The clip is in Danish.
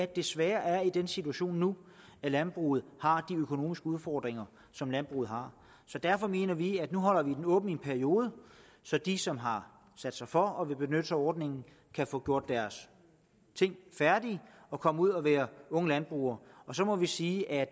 desværre er i den situation nu at landbruget har de økonomiske udfordringer som landbruget har så derfor mener vi at nu holde den åben i en periode så de som har sat sig for at ville benytte sig af ordningen kan få gjort deres ting færdige og komme ud og være unge landbrugere og så må vi sige at